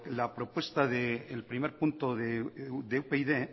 la propuesta el primer punto de upyd